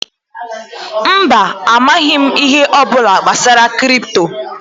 Mba, amaghị m ihe ọbụla gbasara kripto